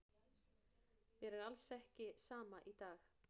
Mér er alls ekki sama í dag.